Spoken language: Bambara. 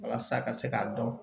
Walasa ka se k'a dɔn